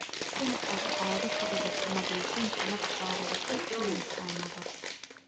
In aad caado ka dhigato nadiifinta naftaada waxay keenaysaa nabad.